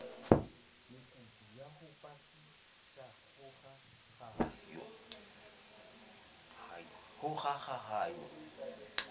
mekutu ya ho potlakisa kgokahanyo